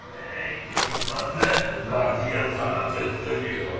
Ey, dəli qanlı, qardiyan sənə təslim olur.